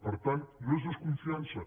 per tant no és desconfiança